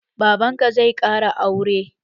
Baban ka zai ƙara sure?